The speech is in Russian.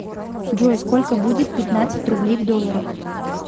джой сколько будет пятнадцать рублей в долларах